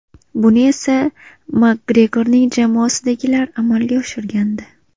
Buni esa Makgregorning jamoasidagilar amalga oshirgandi.